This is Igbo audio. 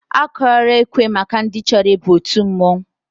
Akụọla ekwe maka ndị chọrọ ịba òtù mmọnwụ?